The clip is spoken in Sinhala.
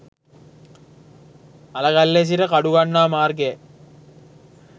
අලගල්ලේ සිට කඩුගන්නාව මාර්ගයයි.